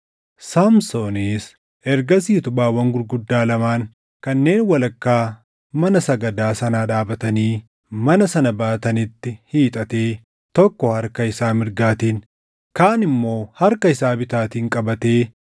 Saamsoonis ergasii utubaawwan gurguddaa lamaan kanneen walakkaa mana sagadaa sanaa dhaabatanii mana sana baatanitti hiixatee tokko harka isaa mirgaatiin, kaan immoo harka isaa bitaatiin qabatee,